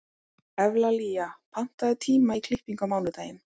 Evlalía, pantaðu tíma í klippingu á mánudaginn.